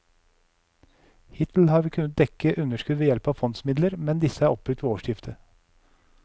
Hittil har vi kunnet dekke underskudd ved hjelp av fondsmidler, men disse er oppbrukt ved årsskiftet.